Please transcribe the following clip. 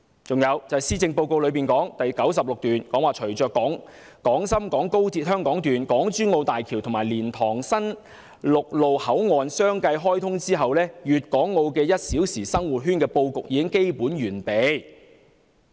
此外，施政報告第96段提到，"隨着廣深港高鐵香港段、港珠澳大橋和蓮塘新陸路口岸相繼開通，粵港澳'一小時生活圈'的布局已基本完備。